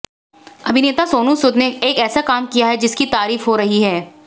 अभिनेता सोनू सूद ने एक ऐसा काम किया है जिसकी तारीफ हो रही है